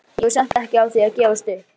Ég var samt ekki á því að gefast upp.